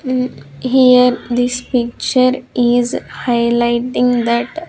Hmm here this picture is highlighting that--